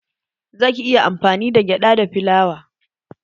Zaki iya amfani da gyada da filawa